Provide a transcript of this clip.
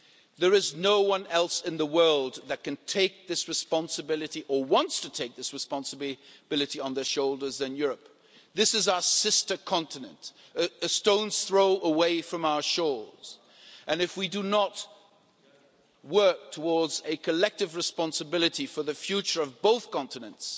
There is no one else in the world that can take this responsibility or wants to take this responsibility on their shoulders other than Europe. This is our sister continent, a stone's throw away from our shores, and if we do not work towards a collective responsibility for the future of both continents,